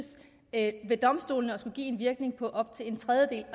at ved domstolene skal give indvirkning på op til en tredjedel